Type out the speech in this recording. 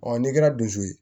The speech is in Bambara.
n'i kɛra dusu ye